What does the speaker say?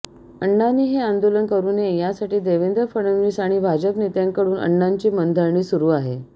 अण्णांनी हे आंदोलन करु नये यासाठी देवेंद्र फडणवीस आणि भाजप नेत्यांकडून अण्णांची मनधरणी सुरु आहे